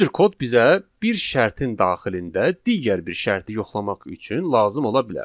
Bu cür kod bizə bir şərtin daxilində digər bir şərti yoxlamaq üçün lazım ola bilər.